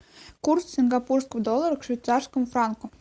курс сингапурского доллара к швейцарскому франку